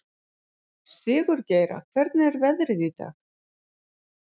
Sigurgeira, hvernig er veðrið í dag?